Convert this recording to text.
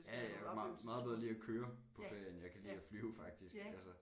Ja ja jeg kan meget bedre lide at køre på ferie end jeg kan lide at flyve faktisk altså